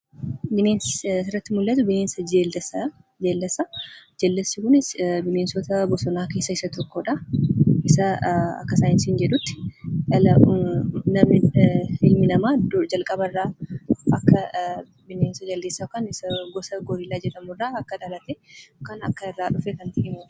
Bineensi asirratti mul'atu bineensa Jaldeessaa. Jaldeessi kunis bineensota bosonaa keessaa isa tokkodha. Akka saayinsiin jedhutti ilmi namaa calqaba irraa bineensa Jaldeessaa yookaan goorillaa jedhamu irraa akka dhalate kan agarsiisudha.